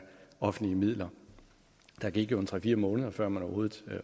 offentlige midler der gik jo tre fire måneder før man overhovedet